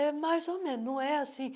É mais ou menos, não é assim.